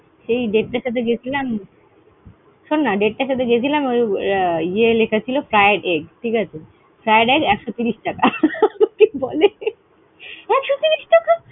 সেই টার সাথে গিয়ে ছিলাম। শোননা ইয়ে লেখা ছিল, fried egg ঠিকাছে। fried egg একশো তিরিশ টাকা। বলে একশো তিরিশ টাকা!